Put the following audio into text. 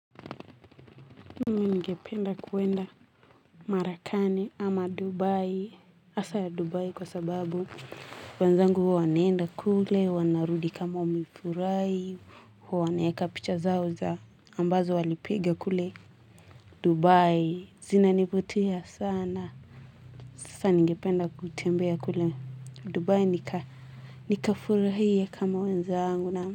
Mimi ningependa kwenda Marekani ama Dubai hasa ya dubai kwa sababu wenzangu huwa wanaenda kule wanarudi kama wamefurahi wanaweka picha zao za ambazo walipigia kule Dubai zinanivutia sana. Sasa ningependa kutembea kule Dubai nikafurahie kama wenzangu na.